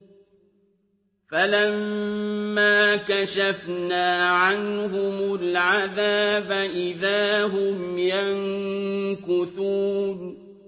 فَلَمَّا كَشَفْنَا عَنْهُمُ الْعَذَابَ إِذَا هُمْ يَنكُثُونَ